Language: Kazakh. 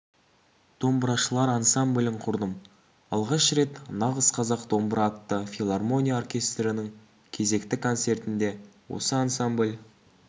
домбырашылар ансамблін құрдым алғаш рет нағыз қазақ домбыра атты филармония оркестрінің кезекті концертінде осы ансамбль